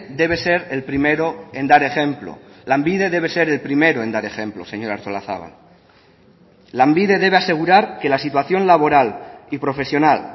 debe ser el primero en dar ejemplo lanbide debe ser el primero en dar ejemplo señora artolazabal lanbide debe asegurar que la situación laboral y profesional